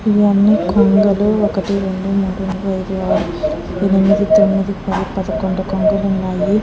ఇవి అని కొంగలు వొకటి రొండు మూడు నాలుగు అయిదు ఆరు ఏడు ఎనిమిడి తోమిడి పాడి పడకొందు కొంగలు వున్నాయీ.